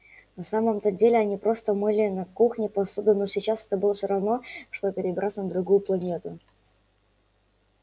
на самом то деле они просто мыли на кухне посуду но сейчас это было все равно что перебраться на другую планету